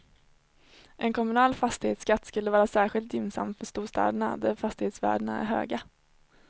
En kommunal fastighetsskatt skulle vara särskilt gynnsam för storstäderna, där fastighetsvärdena är höga.